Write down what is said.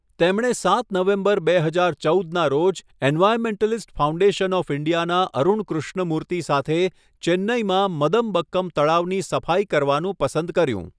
તેમણે સાત નવેમ્બર બે હજાર ચૌદના રોજ એન્વાયર્નમેન્ટલિસ્ટ ફાઉન્ડેશન ઓફ ઈન્ડિયાના અરુણ કૃષ્ણમૂર્તિ સાથે ચેન્નઈમાં મદમબક્કમ તળાવની સફાઈ કરવાનું પસંદ કર્યું.